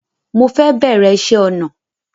Mo fẹ́ bẹ̀rẹ̀ ìṣe ọnà